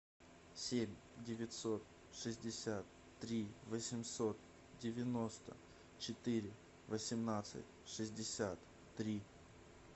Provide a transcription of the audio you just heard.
семь девятьсот шестьдесят три восемьсот девяносто четыре восемнадцать шестьдесят три